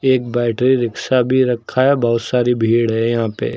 एक battery rickshaw भी रखा है बहुत सारी भीड़ है यहां पे।